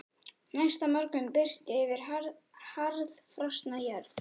Næsta morgun birti yfir harðfrosna jörð.